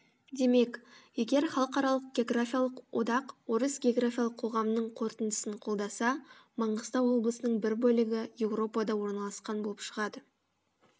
демек егер халықаралық географиялық одақ орыс географиялық қоғамының қорытындысын қолдаса маңғыстау облысының бір бөлігі еуропада орналасқан болып шығады